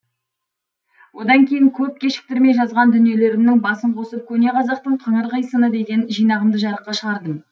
одан кейін көп кешіктірмей жазған дүниелерімнің басын қосып көне қазақтың қыңыр қисыны деген жинағымды жарыққа шығардым